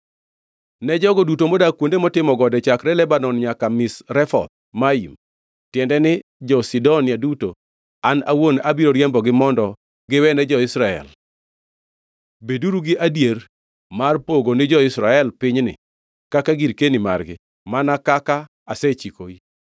“Ne jogo duto modak kuonde motimo gode chakre Lebanon nyaka Misrefoth Maim, tiende ni, jo-Sidonia duto, an awuon abiro riembogi mondo giwene jo-Israel. Beduru gi adieri mar pogo ni jo-Israel pinyni kaka girkeni margi, mana kaka asechikoi.